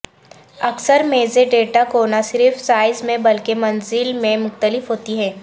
اکثر میزیں ڈیٹا کو نہ صرف سائز میں بلکہ منزل میں مختلف ہوتی ہیں